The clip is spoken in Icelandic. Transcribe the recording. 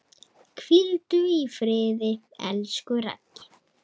Hvíldu í friði, elsku Raggi.